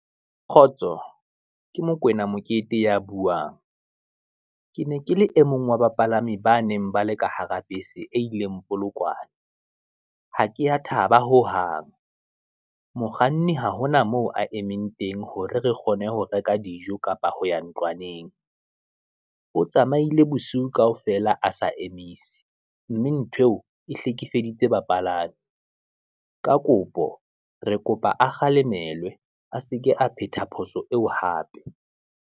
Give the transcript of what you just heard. Kgotso, ke Mokoena Mokete ya buang, ke ne ke le e mong wa bapalami ba neng ba le ka hara bese e ileng Polokwane, ha ke ya thaba ho hang, mokganni ha hona moo a emeng teng hore re kgone ho reka dijo, kapa ho ya ntlwaneng. O tsamaile bosiu kaofela a sa emise, mme nthweo e hlekefeditswe bapalami, ka kopo re kopa a kgalemelwa, a seke a phetha phoso eo hape.